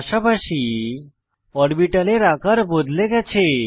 পাশাপাশি অরবিটালের আকার বদলে গেছে